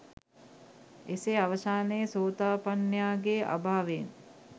එසේ අවසානයේ සෝතාපන්නයාගේ අභාවයෙන්